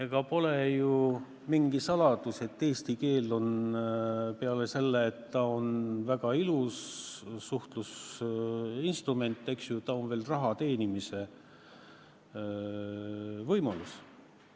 Ega ole ju mingi saladus, et eesti keel on peale selle, et ta on väga ilus suhtlusinstrument, veel ka raha teenimise võimalus.